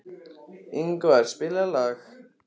Ingmar, spilaðu lag.